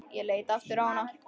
Ég leit aftur á hana.